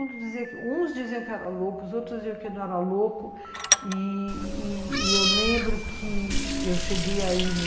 Uns diziam que eu era louco, os outros diziam que eu não era louco e e e eu lembro que eu cheguei aí no